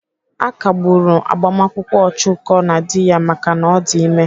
À kagburu gbamakwụkwọ Ọchụko na dị ya maka na ọ dị ime.